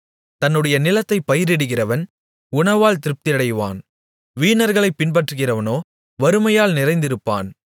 தன்னுடைய நிலத்தைப் பயிரிடுகிறவன் உணவால் திருப்தியாவான் வீணர்களைப் பின்பற்றுகிறவனோ வறுமையால் நிறைந்திருப்பான்